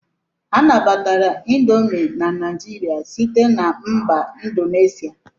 A nabatara indomi na Naijiria site na mba Indonesia.